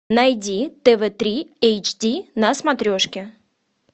найди тв три эйч ди на смотрешке